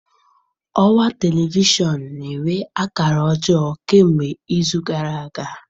Ọwa telivishọn na-enwe akara ọjọọ kemgbe izu gara aga.